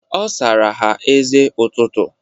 Ọ sara ha eze ụtụtụ.